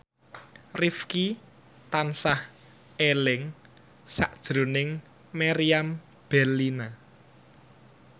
Rifqi tansah eling sakjroning Meriam Bellina